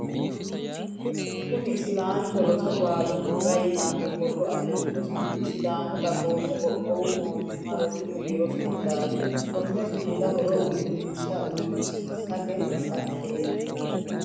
Kunni isilaancho roso baalunkura yitano borro afirino sumudi sidaamu dagoomu qoqqowu mootimma rosu biiro Sumudaati. Konni sumudu horo uurinsha uurinshate badateeti.